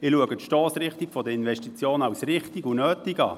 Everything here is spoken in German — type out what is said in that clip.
Für mich ist die Stossrichtung der Investitionen richtig und nötig.